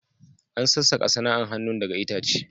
An sassakas sana'an hanun daga itace.